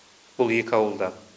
бұл екі ауылда